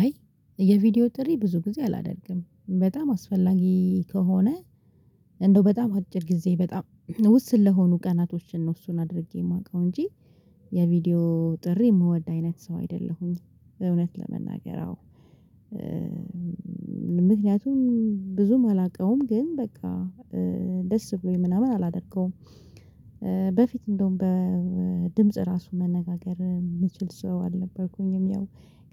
አይ የቪዲዮ ጥሪ ብዙ ጊዜ አላደርግም በጣም አስፈላጊ ከሆነ እንደው በጣም አጭር ጊዜ በጣም ውስን ለሆኑ ቀናቶችን ነው እሱን አድርጌ የማውቀው እንጂ የቪዲዮ ጥሪ የምወድ አይነት ሰው አይደለሁም። እውነት ለመናገር አዎ ምክንያቱም ብዙም አላውቀውም ግን በቃ ደስ ብሎኝ ምናምን አላደርገውም። በፊት እንደውም በድምጽ ራሱ መነጋገር የምችል ሰው አልነበርኩኝም። ያው